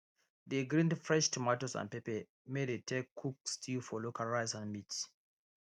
dey grind fresh tomatoes and pepper may dey take cook stew for local rice and meat